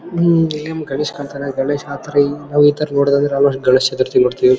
ಹಮ್ ಇಲ್ಲಿ ನಮಗೆ ಗಣೇಶ್ ಕಾಣ್ತಾನೆ ಗಣೇಶ್ ಆ ತರ ಈ ತರ ನೋಡಿದ್ರೆ ನಾವು ಗಣೇಶ ಚತುರ್ಥಿ ಮಾಡ್ತೀವಿ.